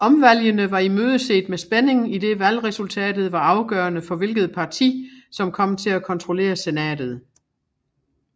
Omvalgene var imødeset med spænding idet valgresultatet var afgørerende for hvilket parti som kom til at kontrollere Senatet